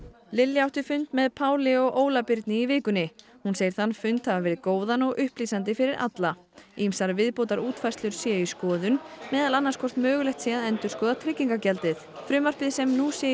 Lilja átti fund með Páli og Óla Birni í vikunni hún segir þann fund hafa verið góðan og upplýsandi fyrir alla ýmsar viðbótar útfærslur séu í skoðun meðal annars hvort mögulegt sé að endurskoða tryggingargjaldið frumvarpið sem nú sé í